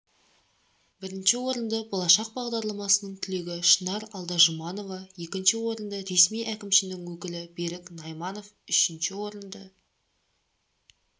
бірінші орынды болашақ бағдарламасының түлегі шынар алдажұманова екінші орынды ресми әкімшінің өкілі берік найманов үшінші орынды